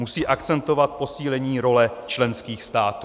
Musí akcentovat posílení role členských států.